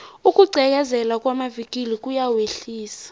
ukugqekezelwa kwamavikili kuyawehlisa